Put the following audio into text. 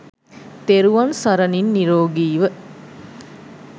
තෙරුවන් සරණින් නීරෝගීව